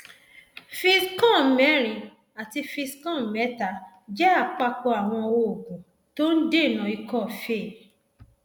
fixcom mẹrin àti fixcom mẹta jẹ àpapọ àwọn oògùn tó ń dènà ikọ fée